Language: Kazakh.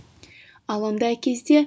ал ондай кезде